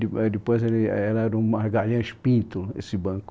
Depois éh era o Margarinhas Pinto, esse banco.